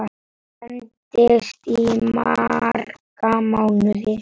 Endist í marga mánuði.